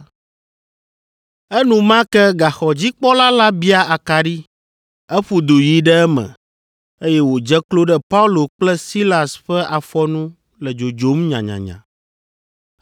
Enumake gaxɔdzikpɔla la bia akaɖi; eƒu du yi ɖe eme, eye wòdze klo ɖe Paulo kple Silas ƒe afɔ nu le dzodzom nyanyanya.